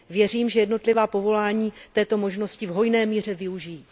Věřím, že jednotlivá povolání této možnosti v hojné míře využijí.